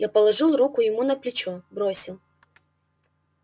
я положил руку ему на плечо бросил